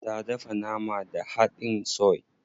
Ta dafa nama da hadin soy.